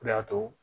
O de y'a to